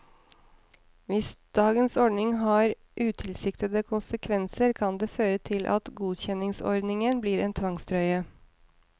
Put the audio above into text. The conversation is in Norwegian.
Hvis dagens ordning har utilsiktede konsekvenser kan det føre til at godkjenningsordningen blir en tvangstrøye.